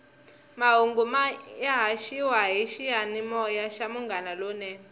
mahungu ya haxiwa hi xiyanimoya xa munghana lonene